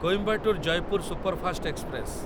Coimbatore Jeypore superfast express